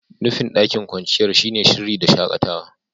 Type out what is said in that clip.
Nufin daƙin kwanciyar shine sirri da shakatawa.